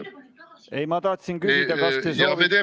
Ei, ma tahtsin küsida, kas te soovite ...